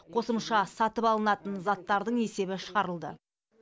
қосымша сатып алынатын заттардың есебі шығарылды